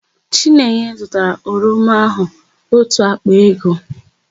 Chinenye zụtara oroma áhụ̀ ótù àkpà ego.